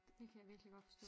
Det kan jeg virkelig godt forstå